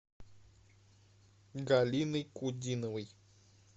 галиной кудиновой